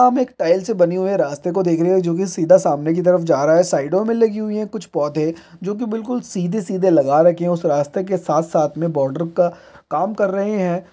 हम एक टाइल्स से बने हुए रास्ते को देख रहे है जो की सीधा सामने की तरफ जा रहा है साइडों में लगी हुई है कुछ पौधे जो की बिलकुल सीधे-सीधे लगा रखी हैं। उस रास्ते के साथ-साथ में बोर्डर का काम कर रहे हैं।